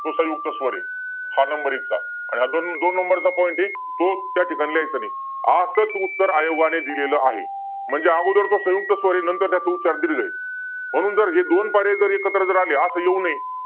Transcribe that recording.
तो संयुक्त स्वर आहे. हा number एक चा point आहे. आणि दोन number चा point आहे. तो त्या ठिकाणी लिहायचा नाही. असच उत्तर आयोगाने दिलेलं आहे. म्हणजे अगोदर तो संयुक्त स्वर आहे आणि नंतर त्यांचा उच्चार दिलेला आहे. म्हणून जर हे दोन पर्याय एकत्र आले. असं येऊ नये.